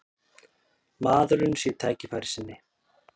Maðurinn sé tækifærissinni